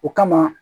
O kama